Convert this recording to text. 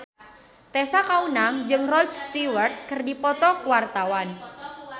Tessa Kaunang jeung Rod Stewart keur dipoto ku wartawan